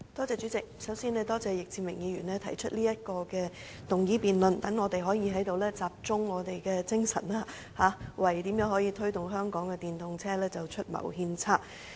主席，首先，我感謝易志明議員提出今天這項議案辯論，讓我們可以在此集中精神，為推動香港電動車普及化出謀獻策。